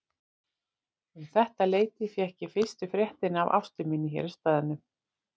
Um þetta leyti fékk ég fyrstu fréttir af Ástu minni hér í staðnum.